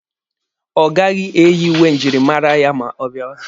Ọ gaghị eyi uwe njirimara ya ma ọ bịawa.